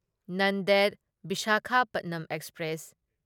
Nanded Visakhapatnam express